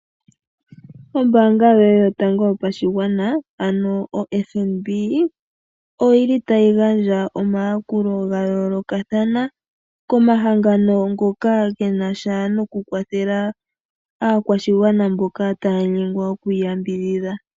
Omambaanga yoye yotango yopashigwana ano oFNB otayi gandja omayakulo ga yoolokathana komahangano ngoka ge na sha nokukwathela aakwashigwana mboka taya nyengwa okuiyambidhidha.